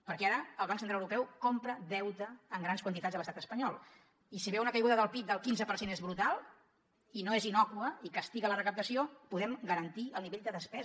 perquè ara el banc central europeu compra deute en grans quantitats a l’estat espanyol i si ve una caiguda del pib del quinze per cent i és brutal i no és innòcua i castiga la recaptació podem garantir el nivell de despesa